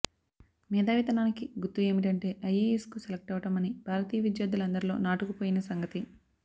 మేధావితనానికి గుర్తు ఏమిటంటే ఐయేయస్కు సెలక్టవడం అని భారతీయ విద్యార్థులందరిలో నాటుకుపోయిన సంగతి